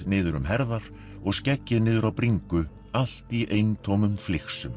niður um herðar og skeggið niður á bringu allt í eintómum